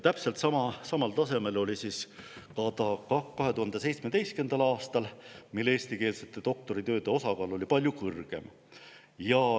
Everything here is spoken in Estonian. Täpselt samal tasemel oli see ka 2017. aastal, mil eestikeelsete doktoritööde osakaal oli palju suurem.